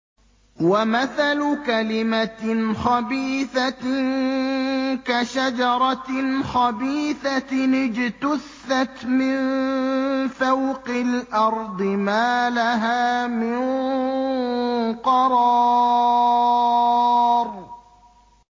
وَمَثَلُ كَلِمَةٍ خَبِيثَةٍ كَشَجَرَةٍ خَبِيثَةٍ اجْتُثَّتْ مِن فَوْقِ الْأَرْضِ مَا لَهَا مِن قَرَارٍ